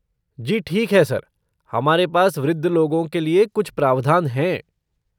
जी ठीक है सर, हमारे पास वृद्ध लोगों के लिए कुछ प्रावधान हैं।